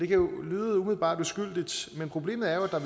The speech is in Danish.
kan umiddelbart lyde uskyldigt men problemet er at